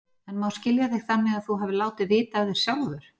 En má skilja þig þannig að þú hafir látið vita af þér sjálfur?